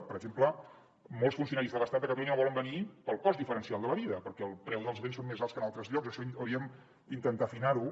per exemple molts funcionaris de l’estat a catalunya no volen venir pel cost diferencial de la vida perquè el preu dels béns són més alts que en altres llocs això hauríem d’intentar afinar ho